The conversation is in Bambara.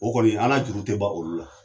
O kɔni an ka juru tɛ ban olu la